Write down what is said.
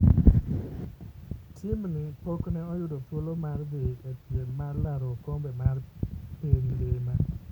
Tim ni pok ne oyudo thuolo mar dhi e piem mar laro okombe mar piny ngima.